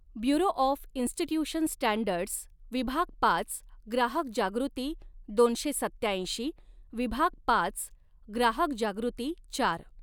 Bureau of institution standards विभाग पाच ग्राहक जागृती दोनशे सत्त्याऐंशी विभाग पाच ग्राहक जागृती चार.